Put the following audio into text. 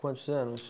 Quantos anos?